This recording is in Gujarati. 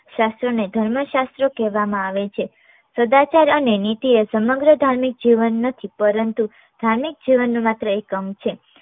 શાસ્ત્ર ને ધર્મશાસ્ત્ર કહેવામાં આવે છે. સદાચાર અને નીતિ એ સમગ્ર ધાર્મિક જીવન નથી પરંતુ ધાર્મિક જીવનનો માત્ર એક અંગ છે.